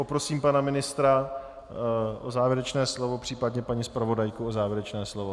Poprosím pana ministra o závěrečné slovo, případně paní zpravodajku o závěrečné slovo.